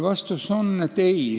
Vastus on ei.